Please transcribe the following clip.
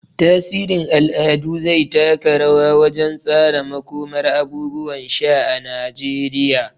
Tasirin al'adu zai taka rawa wajen tsara makomar abubuwan sha na Najeriya.